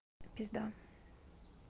пизда